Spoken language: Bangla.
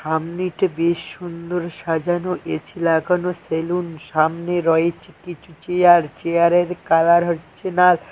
বেশ সুন্দর সাজানো এছি লাগানো সেলুন সামনে রয়েছে কিছু চেয়ার চেয়ারের কালার হচ্ছে নাল ।